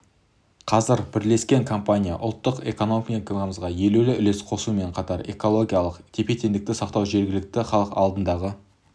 қазір бірлескен компания ұлттық экономикамызға елеулі үлес қосуымен қатар экологиялық тепе-теңдікті сақтау жергілікті халық алдындағы